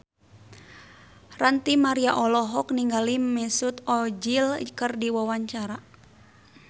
Ranty Maria olohok ningali Mesut Ozil keur diwawancara